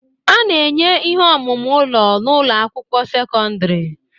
A na-enye ihe omume ụlọ n'ụlọ akwụkwọ sekọndrị